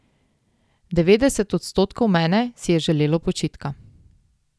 Devetdeset odstotkov mene si je želelo počitka.